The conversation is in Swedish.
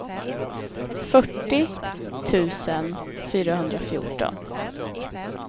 fyrtio tusen fyrahundrafjorton